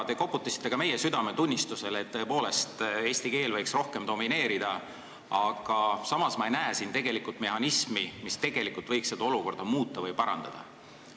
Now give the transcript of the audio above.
Te koputasite ka meie südametunnistusele, et eesti keel võiks rohkem domineerida, aga samas ma ei näe siin tegelikult mehhanismi, mis tegelikult võiks seda olukorda muuta või parandada.